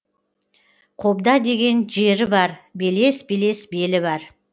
қобда деген жері бар белес белес белі бар